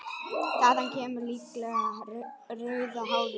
Þaðan kemur líklega rauða hárið.